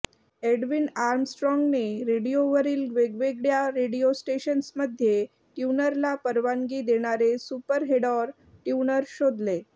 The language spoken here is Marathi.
एडविन आर्मस्ट्राँगने रेडिओवरील वेगवेगळ्या रेडिओ स्टेशन्स मध्ये ट्यूनरला परवानगी देणारे सुपरहेडॉर ट्यूनर शोधले